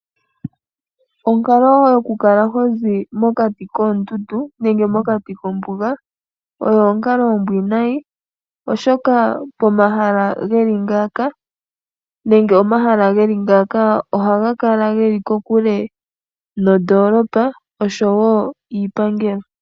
Onkalo yo ku kala hoping mokati koondundu nenge mokati kombuga oyo onkalo ombwiinayi, oshoka omahala geli ngaaka ohaga kala geli kokule nondoolopa, oshowo iipangelo.